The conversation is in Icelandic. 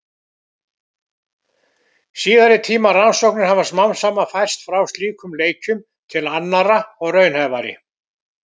Síðari tíma rannsóknir hafa smám saman færst frá slíkum leikjum til annarra og raunhæfari.